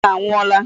Eze anwụọla.